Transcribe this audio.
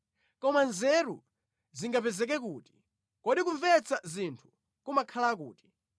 “Koma nzeru zingapezeke kuti? Kodi kumvetsa zinthu kumakhala kuti?